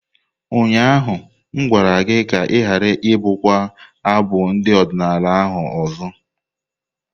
Ụnyaahụ m gwara gị ka ị ghara ibụkwa abụ ndị odinala ahu ọzọ!